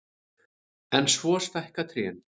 En svo stækka trén.